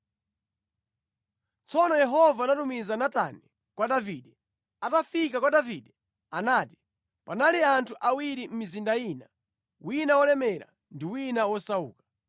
Tsono Yehova anatumiza Natani kwa Davide. Atafika kwa Davide anati, “Panali anthu awiri mʼmizinda ina, wina wolemera ndi wina wosauka.